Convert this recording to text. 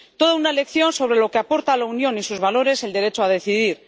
Toda una lección sobre lo que aporta a la Unión y sus valores el derecho a decidir.